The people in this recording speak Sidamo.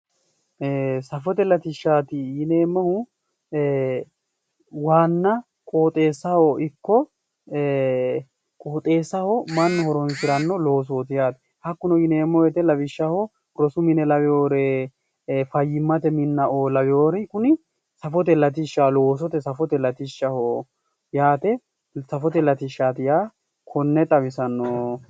Safote latishshati yineemmohu waana qoxxeessaho ikko Ee qoxxeessaho mannu horonsirano qoxxeessaho ikko ee qoxxeessaho mannu horonsirano loosoti yaate, hakkuno yineemmo woyte doogo'o lawinoreti safote latishshati